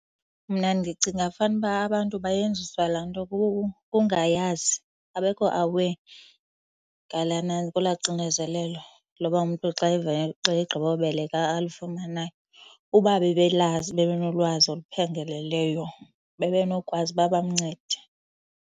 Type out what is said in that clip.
Mna ndicinga fanuba abantu bayenziswa laa nto kungayazi, abekho aware ngolaa xinezelelo loba umntu xa , xa egqiba ubeleka alufumanayo. Uba bebelazi, bebenolwazi oluphangaleleyo bebenokwazi uba bamncede.